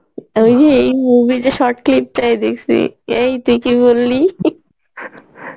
ওই যে এই movie টার short clip টাই দেখসি এই তুই কি বললি ?